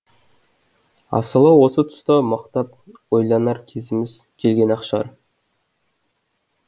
асылы осы тұста мықтап ойланар кезіміз келген ақ шығар